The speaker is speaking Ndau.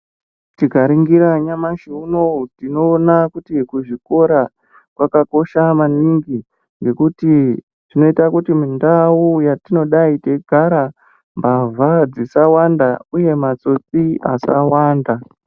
Tikaringira nyamashi unowu tinoona kuti kuzvikora kwakakosha maningi ngekuti tinoita kuti mundai yatinodai teigara mbavha dzisawanda uye matsotsi asawanda.